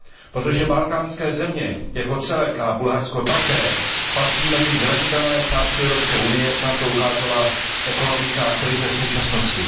Protože balkánské země jako celek a Bulharsko také patří mezi zranitelné části Evropské unie, jak nám to ukázala ekonomická krize v současnosti.